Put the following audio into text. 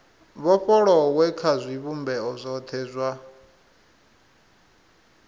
vhofholowe kha zwivhumbeo zwothe zwa